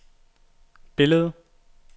billedet